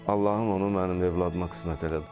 Allahım onu mənim övladıma qismət elədi.